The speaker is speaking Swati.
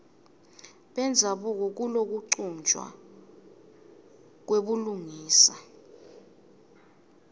bendzabuko kulokuchutjwa kwebulungisa